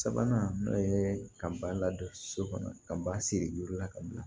Sabanan n'o ye ka ba ladon so kɔnɔ ka ban siri duuru la ka bila